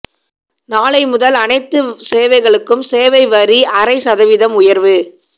நாளை முதல் அனைத்து சேவைகளுக்கும் சேவை வரி அரை சதவீதம் உயர்வு